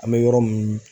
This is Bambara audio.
An bɛ yɔrɔ min